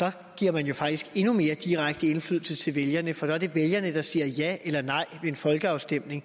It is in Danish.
der giver man jo faktisk endnu mere direkte indflydelse til vælgerne for så er det vælgerne der siger ja eller nej ved en folkeafstemning